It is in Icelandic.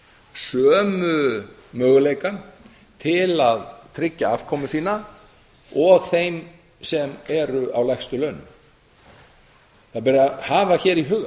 sömu möguleika til að tryggja afkomu sína og þeim sem eru á lægstu launum hafa ber í huga